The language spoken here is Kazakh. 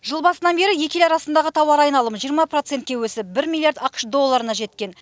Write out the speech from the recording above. жыл басынан бері екі ел арасындағы тауар айналымы жиырма процентке өсіп бір миллиард ақш долларына жеткен